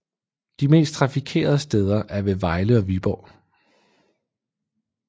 De mest trafikerede steder er ved Vejle og Viborg